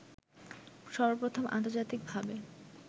সর্বপ্রথম আন্তর্জাতিক ভাবে